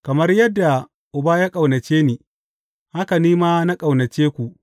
Kamar yadda Uba ya ƙaunace ni, haka ni ma na ƙaunace ku.